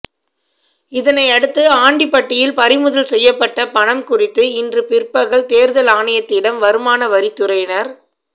இதனையடுத்து ஆண்டிப்பட்டியில் பறிமுதல் செய்யப்பட்ட பணம் குறித்து இன்று பிற்பகல் தோ்தல் ஆணையத்திடம் வருமான வரித்துறையினர்